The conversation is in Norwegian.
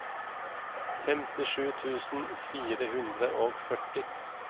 femtisju tusen fire hundre og førti